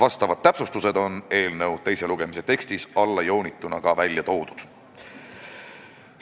Need täpsustused on eelnõu teise lugemise tekstis allajoonituna ka välja toodud.